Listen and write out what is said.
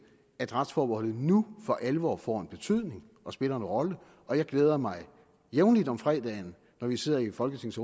at retsforbeholdet nu for alvor får en betydning og spiller en rolle og jeg glæder mig jævnligt om fredagen når vi sidder i folketingets